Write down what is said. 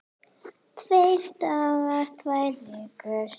Tveir dagar, tvær vikur?